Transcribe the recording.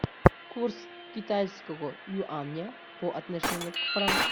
курс китайского юаня по отношению к франку